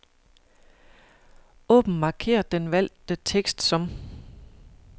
Åbn markér den valgte tekst som.